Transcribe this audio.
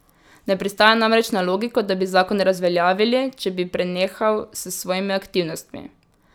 Ne pristaja namreč na logiko, da bi zakon razveljavili, če bi prenehal s svojimi aktivnostmi.